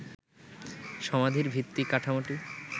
সমাধির ভিত্তি কাঠামোটি